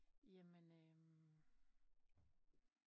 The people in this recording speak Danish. Jamen øh